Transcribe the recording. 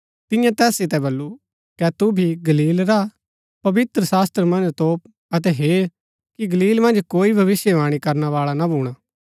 तियें तैस सितै वलु कै तू भी गलील रा हा पवित्रशास्त्र मन्ज तोप अतै हेर कि गलील मन्ज कोई भविष्‍यवाणी करणै बाळा ना भूणा